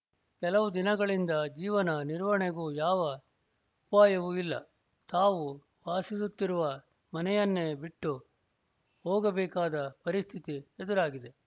ಕೆಲವು ದಿನಗಳಿಂದ ಜೀವನ ನಿರ್ವಹಣೆಗೂ ಯಾವ ಉಪಾಯವೂ ಇಲ್ಲ ತಾವು ವಾಸಿಸುತ್ತಿರುವ ಮನೆಯನ್ನೇ ಬಿಟ್ಟು ಹೋಗಬೇಕಾದ ಪರಿಸ್ಥಿತಿ ಎದುರಾಗಿದೆ